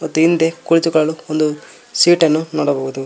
ತಿಂದೆ ಕುಳಿತುಕೊಳ್ಳಲು ಒಂದು ಸೀಟ್ ಅನ್ನು ನೋಡಬಹುದು.